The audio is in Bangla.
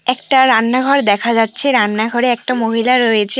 একটা রান্নাঘর দেখা যাচ্ছে রান্নাঘরে একটা মহিলা রয়েছে।